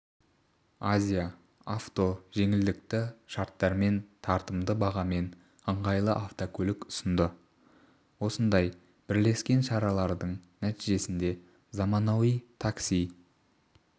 азия авто жеңілдікті шарттармен тартымды бағамен ыңғайлы автокөлік ұсынды осындай бірлескен шаралардың нәтижесінде заманауи такси